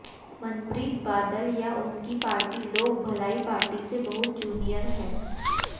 मनप्रीत बादल या उनकी party Lok Bhalai party से बहुत जूनियर है